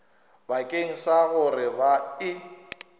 bakeng sa gore ba e